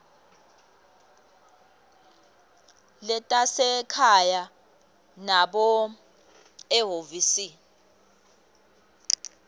letasekhaya nobe ehhovisi